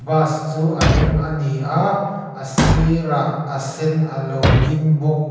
bus chu a eng a ni a a sirah a sen a lo ding bawk.